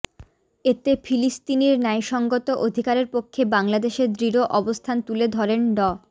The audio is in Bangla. এতে ফিলিস্তিনির ন্যায়সঙ্গত অধিকারের পক্ষে বাংলাদেশের দৃঢ় অবস্থান তুলে ধরেন ড